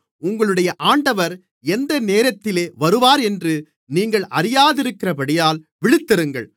உங்களுடைய ஆண்டவர் எந்த நேரத்திலே வருவாரென்று நீங்கள் அறியாதிருக்கிறபடியினால் விழித்திருங்கள்